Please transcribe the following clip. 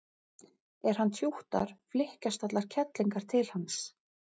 er hann tjúttar flykkjast allar kellingar til hans